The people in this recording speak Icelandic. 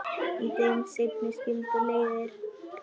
Í þeim seinni skildi leiðir.